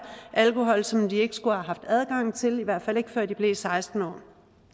alkohol som de ikke skulle have haft adgang til i hvert fald ikke før de blev seksten år